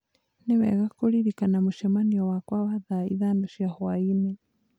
Nĩ wega kũririkana mũcemanio wakwa wa thaa ithano cia hwaĩ-inĩ.